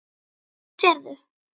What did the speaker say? Hvað sérðu?